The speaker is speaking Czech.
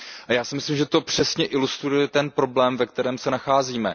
A já si myslím, že to přesně ilustruje ten problém, ve kterém se nacházíme.